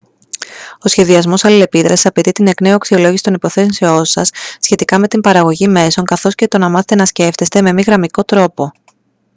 ο σχεδιασμός αλληλεπίδρασης απαιτεί την εκ νέου αξιολόγηση των υποθέσεων σας σχετικά με την παραγωγή μέσων καθώς και το να μάθετε να σκέφτεστε με μη γραμμικό τρόπο